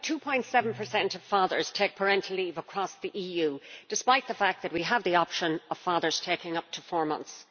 2.7 of fathers take parental leave across the EU, despite the fact that we have the option of fathers taking up to four months.